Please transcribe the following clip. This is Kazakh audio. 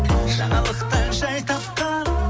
жаңалықтан жай тапқан